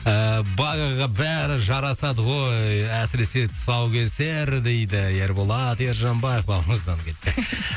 ыыы багага бәрі жарасады ғой әсіресе тұсаукесер дейді ерболат ержанбаев бауырымыздан